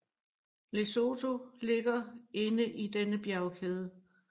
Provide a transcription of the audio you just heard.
Lesotho ligger inde i denne bjergkæde